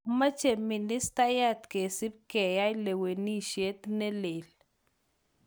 Kamach ministayat kesib keyai lewenishet neleel.